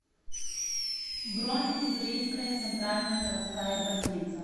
бронь уссурийская центральная городская больница